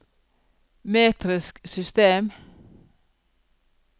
metrisk system